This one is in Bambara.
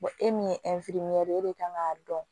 e min ye ye e de kan k'a dɔn